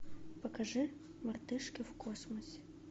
покажи мартышки в космосе